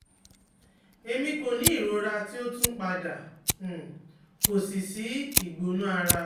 Emi ko ni irora ti o tun pada, um ko si si igbona ara